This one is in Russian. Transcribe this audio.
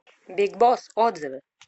биг босс отзывы